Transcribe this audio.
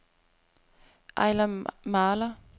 Ejler Mahler